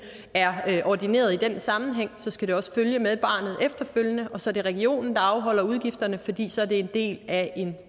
er ordineret i den sammenhæng skal det også følge med barnet efterfølgende og så er det regionen der afholder udgifterne fordi det så er en del af en